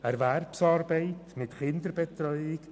Erwerbsarbeit mit Kinderbetreuung.